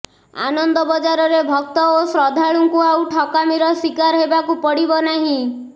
ଆନନ୍ଦ ବଜାରରେ ଭକ୍ତ ଓ ଶ୍ରଦ୍ଧାଳୁଙ୍କୁ ଆଉ ଠକାମୀର ଶିକାର ହେବାକୁ ପଡିବନାହିଁ